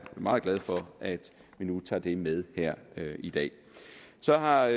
meget glad for at vi nu tager det med her i dag så har